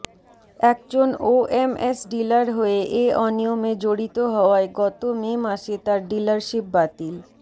একজন OMS dealer হয়ে এ অনিয়মে জড়িত হওয়ায় গত মে মাসে তার ডিলারশিপ বাতিল